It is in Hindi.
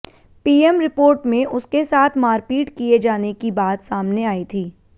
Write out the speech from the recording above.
पीएम रिपोर्ट में उसके साथ मारपीट किए जाने की बात सामने आयी थी